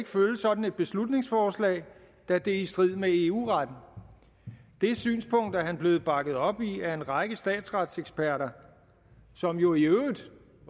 følge sådan et beslutningsforslag da det er i strid med eu retten det synspunkt er han blevet bakket op i af en række statsretseksperter som jo i øvrigt